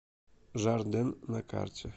жарден на карте